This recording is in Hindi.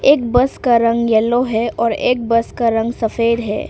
एक बस का रंग येलो है और एक बस का रंग सफेद है।